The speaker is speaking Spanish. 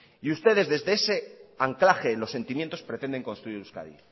y ustedes desde ese anclaje en los sentimientos pretenden construir euskadi